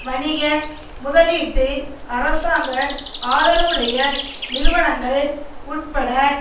வணிக முதலீட்டு அரசாங்க ஆதரவுடைய நிறுவனங்கள் உட்பட